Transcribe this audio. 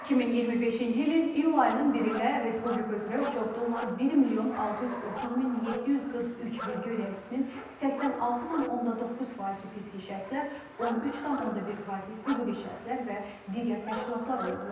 2025-ci ilin iyul ayının 1-nə Respublika üzrə uçotda olan 1 milyon 630 min 743 vergi ödəyicisinin 86,9 faizi fiziki şəxslər, 13,1 faizi hüquqi şəxslər və digər təşkilatlar olublar.